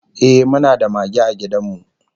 Ehh, muna da mage a gidan mu